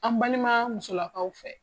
An balima musolakaw fɛ